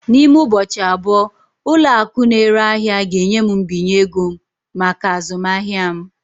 N'ime ụbọchị abụọ, ụlọ akụ na-ere ahịa ga-enye m mbinye ego maka azụmahịa m.